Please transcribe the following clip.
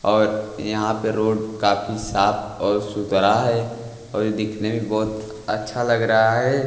और यहाँ पे रोड काफी साफ और सुतरा हैं और ये दिखने भी बहुत अच्छा लग रहा हैं।